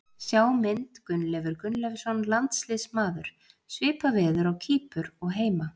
Sjá mynd Gunnleifur Gunnleifsson, landsliðsmaður: Svipað veður á Kýpur og heima.